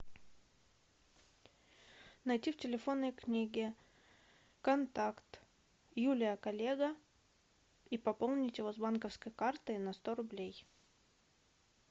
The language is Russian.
найти в телефонной книге контакт юлия коллега и пополнить его с банковской карты на сто рублей